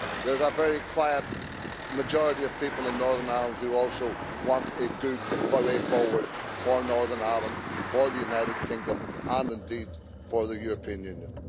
There's a very quiet majority of people in Northern Ireland who also want a good way forward for Northern Ireland, for the United Kingdom, and indeed for the European Union.